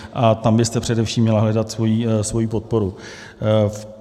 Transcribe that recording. A tam byste především měla hledat svoji podporu.